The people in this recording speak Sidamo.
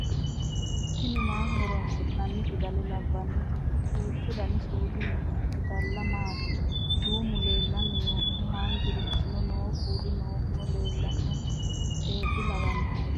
tini maaho horoonsi'nanni fidala labbnoti duuchu dani suudi noo fidalla maati duumu leelanni nooe haanjurichino noo kuulu noohuno lelanno xeeqe lawanno